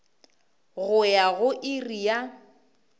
go ya go iri ya